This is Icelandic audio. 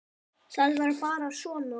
Það var bara svona.